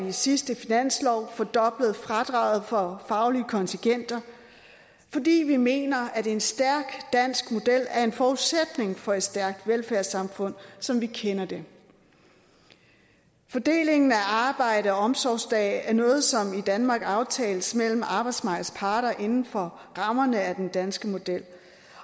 i sidste finanslov fordoblede fradraget for faglige kontingenter vi vi mener at en stærk dansk model er en forudsætning for et stærkt velfærdssamfund som vi kender det fordelingen af arbejde og omsorgsdage er noget som i danmark aftales mellem arbejdsmarkedets parter inden for rammerne af den danske model